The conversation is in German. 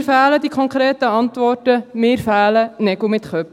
Mir fehlen die konkreten Antworten, mir fehlen Nägel mit Köpfen.